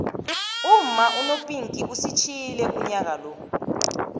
umma unopinkie usitjiyile unyaka lo